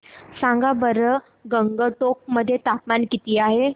सांगा बरं गंगटोक मध्ये तापमान किती आहे